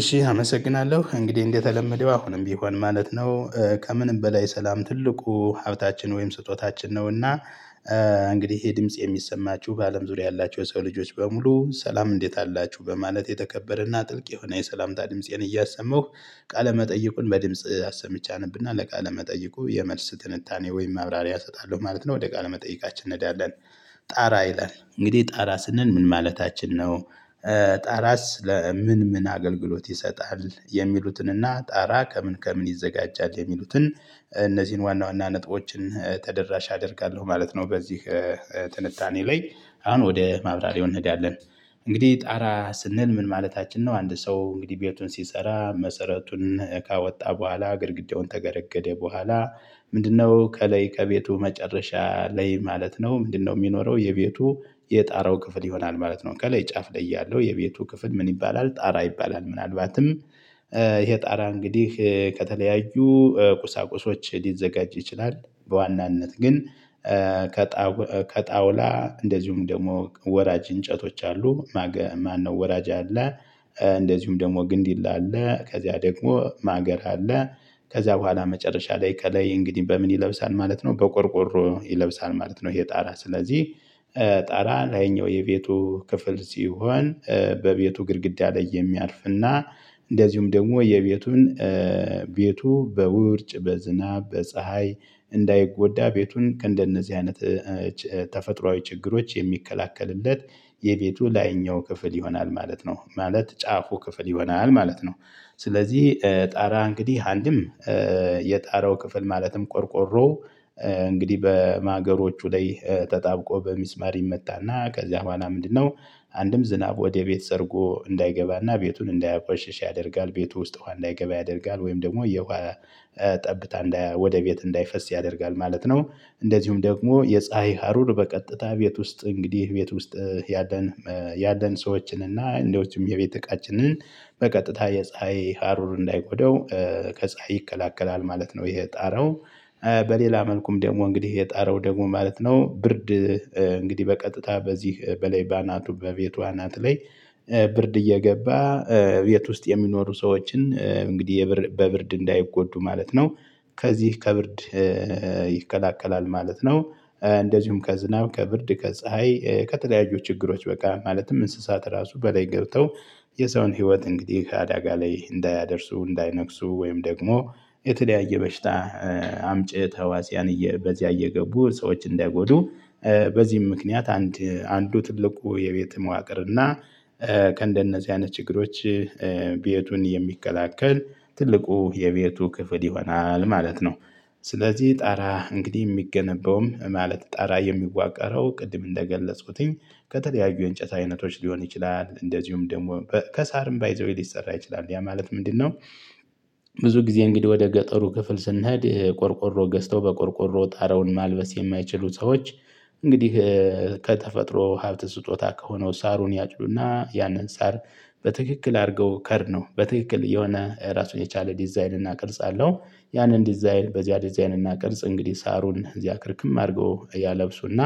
እሺ አመሰግናለሁ እንግዲህ እንደተለመደው አሁንም ቢሆን ማለት ነው ከምንም በላይ ሰላም ትልቁ ሀብታችን ወይም ስጦታችን ነውና። እንግዲህ ይሄ ድምጽ የሚሰማችሁ በአለም ዙሪያ ያላቸው የሰው ልጆች በሙሉ ሰላም እንዴት አላችሁ? በማለት የተከበረና ጥልቅ የሆነ የሰላምታ ድምፄን እያሰማሁ ቃለ መጠይቁን በድምጽ አሰምቼ አነብና ለቃለ መጠይቁ የመልስ ትንታኔ ወይም ማብራሪያ እሰጣለሁ ማለት ነው ወደ ቃለ መጠይቃችን እንሄዳለን። ጣራ ይላል እንግዲህ ጣራ ስንል ምን ማለታችን ነው? ጣራ ስለ ምን ምን አገልግሎት ይሰጣል የሚሉትንና ጣራ ከምን ከምን ይዘጋጃል የሚሉትን? እነዚህን ዋና ዋና ነጥቦችን ተደራሽ አደርጋለሁ ማለት ነው። በዚህ ትንታኔ ላይ አሁን ወደ ማብራሪያው እንሄዳለን። እንግዲህ ጣራ ስንል ምን ማለታችን ነው? አንድ ሰው እንግዲህ ቤቱን ሲሰራ መሰረቱን ካወጣ በኋላ ግድግዳውን ተገረገደ በኋላ። ምንድነው ከለይ ከቤቱ መጨረሻ ለይ ማለት ነው። ምንድነው የሚኖረው የቤቱ የጣራው ክፍል ይሆናል ማለት ነው። ከላይ ጫፍ ላይ ያለው የቤቱ ክፍል ምን ይባላል? ጣራ አይባላም ምናልባትም ይሄ ጣራ እንግዲህ ከተለያዩ ቁሳቁሶች ሊዘጋጅ ይችላል። በዋናነት ግን ከጣውላ እንደዚሁም ደግሞ ወራጅ እንጨቶች አሉ። ማነው ወራጅ አለ? እንደዚሁም ደግሞ ግንዲላ አለ ከዚያ ደግሞ ማገር አለ። ከዚያ በኋላ መጨረሻ ላይ ከላይ እንግዲህ በምን ይለብሳል ማለት ነው። በቆርቆሮ ይለብሳል ማለት ነው። ይሄ ጣራ ስለዚህ ጣራ ላይኛው የቤቱ ክፍል ሲሆን በቤቱ ግድግዳ ላይ የሚያርፍና። እንደዚሁም ደግሞ የቤቱን ቤቱ በውርጭ በዝናብ በፀሀይ እንዳይጎዳ ቤቱን ከእንደነዚህ አይነት ተፈጥሮአዊ ችግሮች የሚከላከልለት የቤቱ ላይኛው ክፍል ይሆናል ማለት ነው ማለት ጫፉ ክፍል ይሆናል ማለት ነው። ስለዚህ ጣራ እንግዲህ አንድም የጣረው ክፍል ማለትም ቆርቆሮ እንግዲህ በማገሮቹ ላይ ተጣብቆ በሚስማር ይመታና ከዚያ በኋላ ምንድነው አንድም ዝናብ ወደ ቤት ሰርጎ እንዳይገባና ቤቱን እንዳያቆሽሽ ያደርጋል ቤቱ ውስጥ ውሃ እንዳይገባ ያደርጋል። ወይም ደግሞ የውሃ ጠብታ ወደ ቤት እንዳይፈስ ያደርጋል ማለት ነው። እንደዚሁም ደግሞ የፀሀይ ሀሩር በቀጥታ ቤት ውስጥ እንግዲህ ቤት ውስጥ ያለን ያለን ሰዎችን እና እንደውም የቤት እቃችንን በቀጥታ የፀሀይ ሀሩር እንዳይጎደው ከፀሀይ ይከላከላል ማለት ነው። ይሄ ጣረው በሌላ መልኩም ደግሞ እንግዲህ የጣረው ደግሞ ማለት ነው። ብርድ እንግዲህ በቀጥታ በዚህ በላይ በአናቱ በቤቱ አናት ላይ ብርድ እየገባ ቤት ውስጥ የሚኖሩ ሰዎችን እንግዲህ በብርድ እንዳይጎዱ ማለት ነው። ከዚህ ከብርድ ይከላከላል ማለት ነው። እንደዚሁም ከዝናብ ከብርድ ከፀሀይ ከተለያዩ ችግሮች በቃ ማለትም እንስሳት ራሱ በላይ ገብተው የሰውን ህይወት እንግዲህ አዳጋ ላይ እንዳያደርሱ እንዳይነክሱ ወይም ደግሞ የተለያየ በሽታ አምጪ ተዋጽያን በዚህ እየገቡ ሰዎች እንዳይጎዱ። በዚህም ምክንያት አንድ አንዱ ትልቁ የቤት መዋቅር እና ከእንደነዚህ አይነት ችግሮች ቤቱን የሚከላከል ትልቁ የቤቱ ክፍል ይሆናል ማለት ነው። ስለዚህ ጣራ እንግዲህ የሚገነባውም ማለት ጣራ የሚዋቀረው ቅድም እንደገለጽኩትኝ ከተለያዩ የእንጨት አይነቶች ሊሆን ይችላል። እንደዚሁም ደግሞ ከሳርም ባይ ዘ ዌይ ሊሰራ ይችላል ያ ማለት ምንድነው? ብዙ ጊዜ እንግዲህ ወደ ገጠሩ ክፍል ስንሄድ ቆርቆሮ ገዝተው በቆርቆሮ ጣረውን ማልበስ የማይችሉ ሰዎች። እንግዲህ ከተፈጥሮ ሀብት ስጦታ ከሆነው ሳሩን ያጭዱና ያንን ሳር በትክክል አድርገው ከር ነው በትክክል የሆነ ራሱን የቻለ ዲዛይን እናቅርጽ አለው። ያንን ዲዛይን በዚያ ዲዛይን እና ቅርጽ እንግዲህ ሳሩን እዚያ ክርክም አድርገው እያለብሱና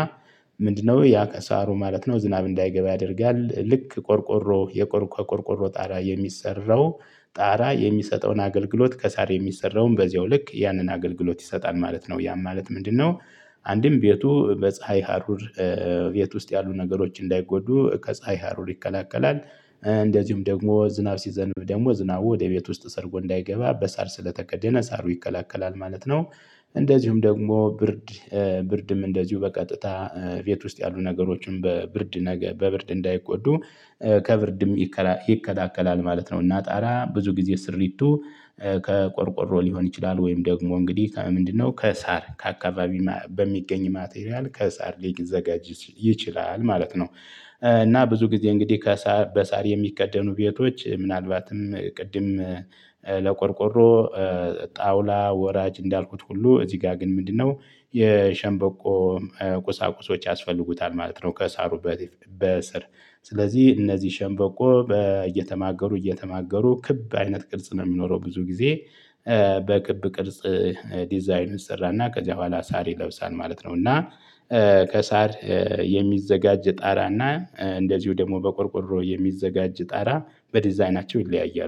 ምንድነው ያ ከሳሩ ማለት ነው። ዝናብ እንዳይገባ ያደርጋል ልክ ቆርቆሮ የቆርቆ ቆርቆሮ ጣራ የሚሰራው ጣራ የሚሰጠውን አገልግሎት ከሳር የሚሰራውን በዚያው ልክ ያንን አገልግሎት ይሰጣል ማለት ነው። ያም ማለት ምንድነው? አንድም ቤቱ በፀሀይ ሀሩር ቤት ውስጥ ያሉ ነገሮች እንዳይጎዱ ከፀሀይ ሀሩር ይከላከላል። እንደዚሁም ደግሞ ዝናብ ሲዘንብ ደግሞ ዝናቡ ወደ ቤት ውስጥ ሰርጎ እንዳይገባ በሳር ስለተከደነ ሳሩ ይከላከላል ማለት ነው። እንደዚሁም ደግሞ ብርድ ብርድም እንደዚሁ በቀጥታ ቤት ውስጥ ያሉ ነገሮችን በብርድ ነገር በብርድ እንዳይጎዱ ከብርድም ይከላከላል ማለት ነው። እና ጣራ ብዙ ጊዜ ስሪቱ ከቆርቆሮ ሊሆን ይችላል ወይም ደግሞ እንግዲህ ምንድነው ከሳር ከአካባቢ በሚገኝ ማቴሪያል ከሳር ሊግ ዘጋጅ ይችላል ማለት ነው። እና ብዙ ጊዜ እንግዲህ ከሳር በሳር የሚከደኑ ቤቶች ምናልባትም ቅድም ለቆርቆሮ ጣውላ ወራጅ እንዳልኩት ሁሉ እዚህ ጋር ግን ምንድነው የሸንበቆ ቁሳቁሶች ያስፈልጉታል ማለት ነው። ከሳሩበት በስር ስለዚህ እነዚህ ሸንበቆ እየተማገሩ እየተማገሩ ክብ አይነት ቅርጽ ነው የሚኖረው። ብዙ ጊዜ በክብ ቅርጽ ዲዛይን ይሰራና ከዚያ በኋላ ሳር ይለብሳል ማለት ነው። እና ከሳር የሚዘጋጅ ጣራና እንደዚሁ ደግሞ በቆርቆሮ የሚዘጋጅ ጣራ በዲዛይናቸው ይለያያሉ